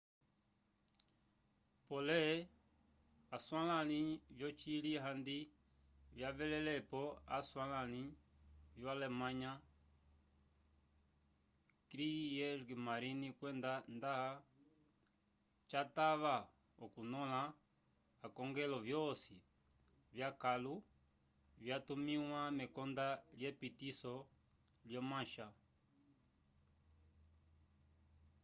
pole aswalãli vyocili handi vyavelelepo aswalãli vyo-alemanya kriegsmarine” kwenda nda catava okunyõla akongelo vyosi vyakãlu vyatumĩwa mekonda lyepitiso lyo mancha